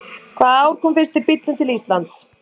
Hvaða ár kom fyrsti bíllinn til Íslands?